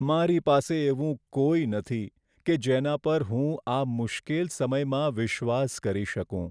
મારી પાસે એવું કોઈ નથી કે જેના પર હું આ મુશ્કેલ સમયમાં વિશ્વાસ કરી શકું.